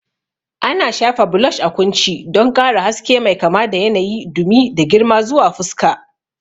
Ana shafa blush a kunci don ƙara haske mai kama da yanayi, dumi, da girma zuwa fuska.